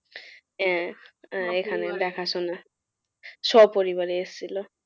আহ এখানে দেখাশোনা। স্বপরিবারে এসেছিল।